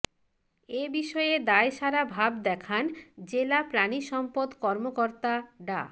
এ বিষয়ে দায়সারা ভাব দেখান জেলা প্রাণী সম্পদ কর্মকর্তা ডা